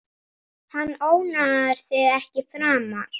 Hann ónáðar þig ekki framar.